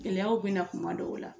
Gɛlɛyaw bɛna na kuma dɔw la